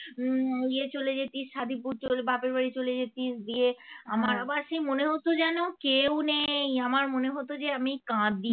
ইয়ে চলে যেতিস সাধিপুর চল বাপের বাড়ি চলে যেতিস গিয়ে আমার আবার সে মনে হত যেন কেউ নেই আমার মনে হতো যে আমি কাঁদি